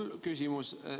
Mul on küsimus.